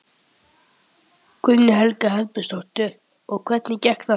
Guðný Helga Herbertsdóttir: Og hvernig gekk þetta?